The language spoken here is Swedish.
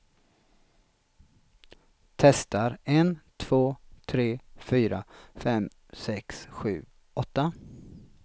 Testar en två tre fyra fem sex sju åtta.